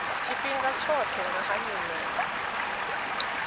tshifhinga tshoṱhe nga ha nyimele